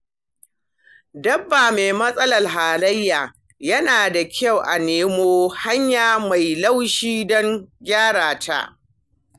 Dabba me matsalar halayya, yana da kyau a nemo hanya mai laushi don gyara ta.